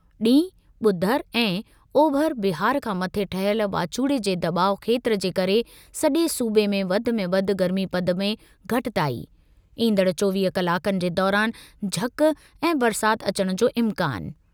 ॾींहुं -ॿुधर ऐं, ओभर बिहार खां मथे ठहियल वाचूड़े जे दॿाउ खेत्रु जे करे सजे॒ सूबे में वधि में वधि गर्मीपद में घटिताई । ईंदड़ चोवीह कलाकनि जे दौरान झक ऐं बरसाति अचणु जो इम्कानु।